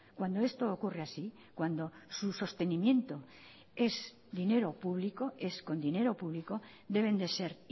cuando esto ocurre así cuando su sostenimiento es dinero público es con dinero público deben de ser